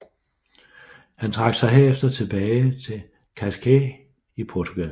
Han trak sig herefter tilbage til Cascais i Portugal